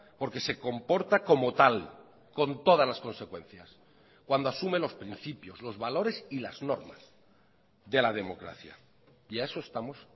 porque se comporta como tal con todas las consecuencias cuando asume los principios los valores y las normas de la democracia y a eso estamos